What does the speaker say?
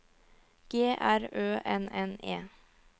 G R Ø N N E